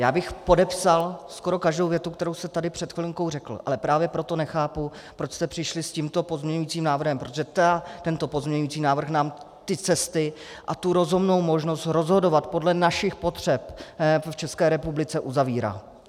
Já bych podepsal skoro každou větu, kterou jste tady před chvilinkou řekl, ale právě proto nechápu, proč jste přišli s tímto pozměňujícím návrhem, protože tento pozměňující návrh nám ty cesty a tu rozumnou možnost rozhodovat podle našich potřeb v České republice uzavírá.